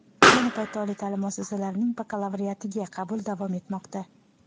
Ayni paytda oliy ta’lim muassasalarining bakalavriatiga qabul davom etmoqda.